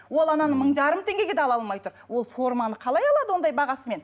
ол ананы мың жарым теңгеге де ала алмай тұр ол форманы қалай алады ондай бағасымен